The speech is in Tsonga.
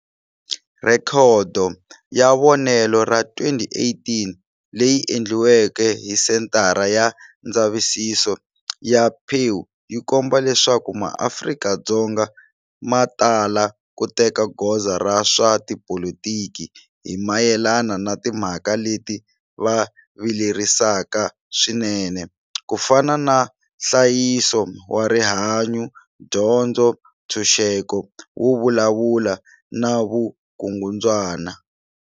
Rhekodo ya vonelo ra 2018 leyi endliweke hi Senthara ya Ndzavisiso ya Pew yi komba leswaku MaAfrika-Dzonga ma tala ku teka goza ra swa tipolitiki hi mayelana na timhaka leti va vilerisaka swinene, ku fana na nhlayiso wa rihanyu, dyondzo, ntshuxeko wo vulavula na vukungundzwana.